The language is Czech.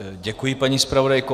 Děkuji, paní zpravodajko.